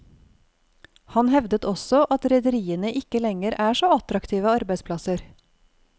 Han hevdet også at rederiene ikke lenger er så attraktive arbeidsplasser.